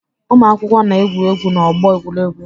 Ụmụakwụkwọ na-egwu egwu n'ọgbọ egwuregwu.